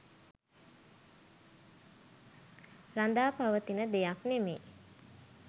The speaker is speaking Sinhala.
රඳාපවතින දෙයක් නෙවෙයි.